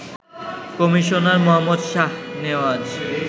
commissioner Mohammad Shahnawaz